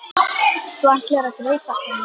Þú ætlaðir að gleypa hana.